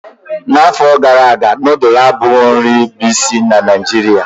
N'afọ gara aga nudulu abụghị nri bụ isi na Naijiria.